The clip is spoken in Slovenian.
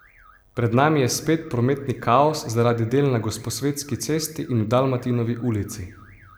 Pred nami je spet prometni kaos zaradi del na Gosposvetski cesti in v Dalmatinovi ulici.